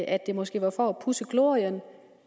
at det måske var for at pudse glorien